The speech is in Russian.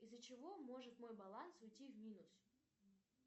из за чего может мой баланс уйти в минус